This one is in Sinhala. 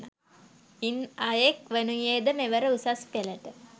ඉන් අයෙක් වනුයේද මෙවර උසස්පෙළට